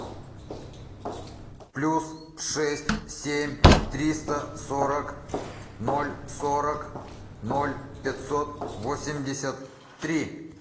плюс шесть семь триста сорок ноль сорок ноль пятьсот восемьдесят три